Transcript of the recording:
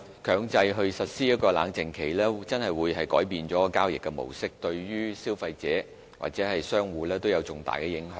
強制實施冷靜期會改變交易模式，對消費者和商戶有重大的影響。